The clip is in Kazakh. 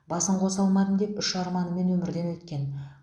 басын қоса алмадым деп үш арманымен өмірден өткен